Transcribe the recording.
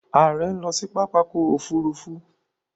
Ààrẹ ń lọ sí pápákọ̀ òfurufú